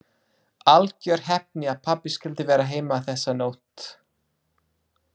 Algjör heppni að pabbi skyldi vera heima þessa nótt.